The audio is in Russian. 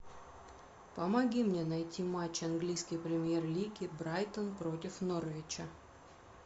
помоги мне найти матч английской премьер лиги брайтон против норвича